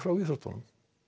íþróttum